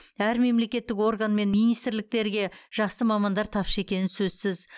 әр мемлекеттік орган мен министрліктерге жақсы мамандар тапшы екені сөзсіз